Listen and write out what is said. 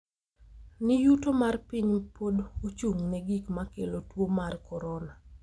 ni yuto mar piny pod ochung’ne gik ma kelo tuwo mar korona.